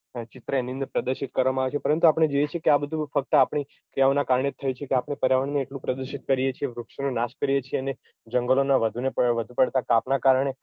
ચિત્ર એની અંદર પ્રદશિત કરવામાં આવે છે પરંતુ આપણે જોઈએ છીએ કે આ બધું ફક્ત આપણી ક્રિયાઓના કારણે થયું છે કે આપણે પર્યાવરણને એટલું પ્રદુષિત કરીએ છીએ વૃક્ષોનું નાશ કરીએ છીએ અને જંગલોના વધુ પડતાં કાપ ના કારણે